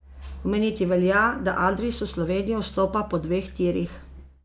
Omeniti velja, da Adris v Slovenijo vstopa po dveh tirih.